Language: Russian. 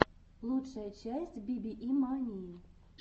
лучшая часть вве мании